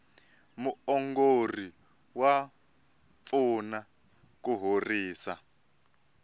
muongori wa pfuna ku horisa